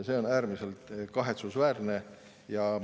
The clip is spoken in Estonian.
See on äärmiselt kahetsusväärne.